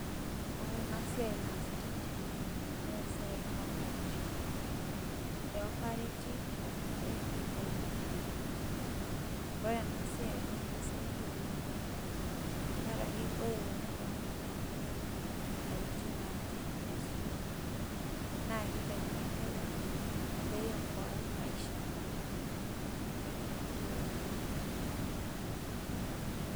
Ore enasiai naasitai tene, nesiai e operation. Eopareti entankile peitaini enkerai. Ore enasiai na kisaidia ena oleng' tenkaraki ore tenelo netalaikine atijing'a aji vizuri, nakitaini enkerai, peiokoai maisha ena tankile, wenenkerai enye kiti.